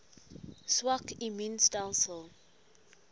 swak immuun stelsels